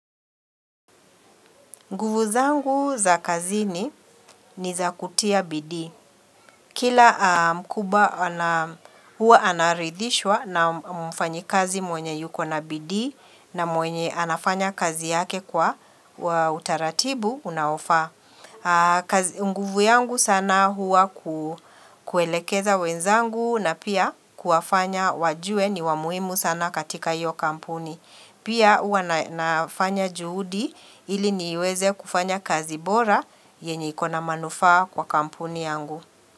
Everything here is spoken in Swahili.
Nguvu zangu za kazini ni za kutia bidii. Kila mkubwa huwa anaridhishwa na mfanya kazi mwenye yuko na bidii na mwenye anafanya kazi yake kwa utaratibu unaofaa. Nguvu yangu sana huwa kuelekeza wenzangu na pia kuwafanya wajue ni wamuhimu sana katika iyo kampuni Pia huwa nafanya juhudi ili niweze kufanya kazi bora yenye ikona manufaa kwa kampuni yangu.